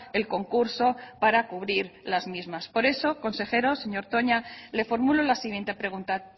el concurso para cubrir las mismas por eso consejero señor toña le formulo la siguiente pregunta